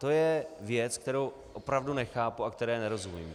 To je věc, kterou opravdu nechápu a které nerozumím.